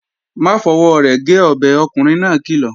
Má fọwọ́ rẹ̀ gé ọbẹ̀, ọkùnrin náà kìlọ̀!